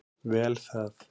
Vel það.